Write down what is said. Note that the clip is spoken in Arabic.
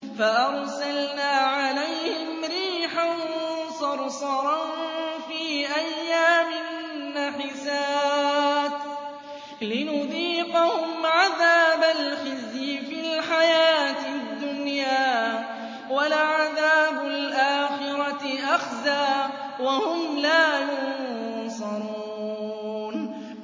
فَأَرْسَلْنَا عَلَيْهِمْ رِيحًا صَرْصَرًا فِي أَيَّامٍ نَّحِسَاتٍ لِّنُذِيقَهُمْ عَذَابَ الْخِزْيِ فِي الْحَيَاةِ الدُّنْيَا ۖ وَلَعَذَابُ الْآخِرَةِ أَخْزَىٰ ۖ وَهُمْ لَا يُنصَرُونَ